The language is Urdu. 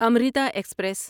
امریتا ایکسپریس